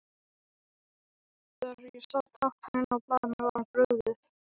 Þegar ég sá táknin á blaðinu var mér brugðið.